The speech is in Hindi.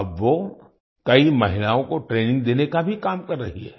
अब वो कई महिलाओं को ट्रेनिंग देने का भी काम कर रही हैं